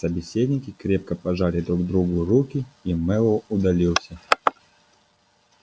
собеседники крепко пожали друг другу руки и мэллоу удалился